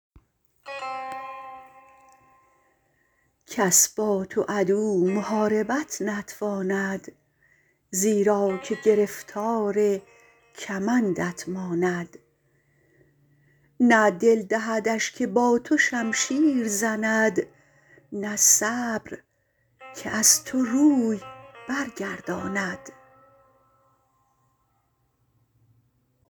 کس با تو عدو محاربت نتواند زیرا که گرفتار کمندت ماند نه دل دهدش که با تو شمشیر زند نه صبر که از تو روی برگرداند